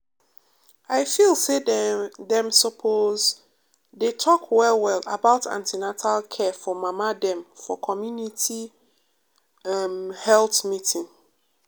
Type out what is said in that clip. i feel say dem suppose um dey talk well well about an ten atal care for mama dem for community em health meeting.